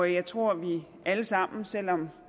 jeg tror vi alle sammen selv om